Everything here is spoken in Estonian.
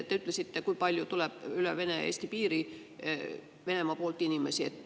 Te ütlesite, kui palju tuleb üle Vene-Eesti piiri Venemaa poolt inimesi.